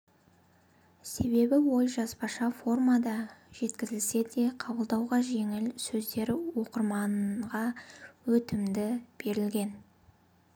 себебі ой жазбаша формада жеткізілсе де қабылдауға жеңіл сөздері оқырманға өтімді берілген